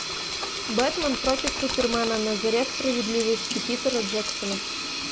бэтмен против супермена на заре справедливости питера джексона